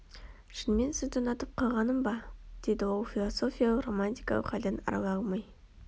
шынымен сізді ұнатып қалғаным ба деді ол әлі философиялық-романтикалық халден арыла алмай